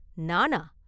“நானா?